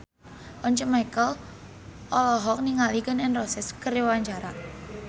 Once Mekel olohok ningali Gun N Roses keur diwawancara